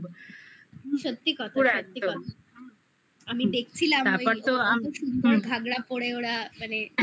সত্যি কথা বলবো সত্যি কথা আমি দেখছিলাম তারপর তো এত সুন্দর ঘাগড়া পরে ওরা মানে